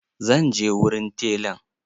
Zan je wurin telan.